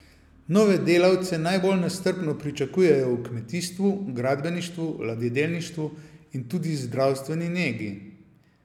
Nove delavce najbolj nestrpno pričakujejo v kmetijstvu, gradbeništvu, ladjedelništvu in tudi zdravstveni negi.